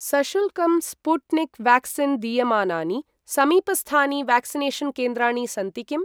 सशुल्कं Sputnik vaccine दीयमानानि समीपस्थानि व्याक्सिनेषन् केन्द्राणि सन्ति किम्?